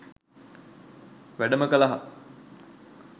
වැඩම කළහ.